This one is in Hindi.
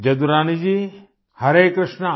जादुरानी जी हरे कृष्णा